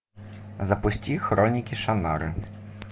запусти хроники шаннары